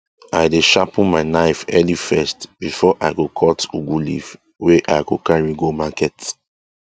i dey sharpen my knife early first before i go cut ugu leaf wey i go carry go market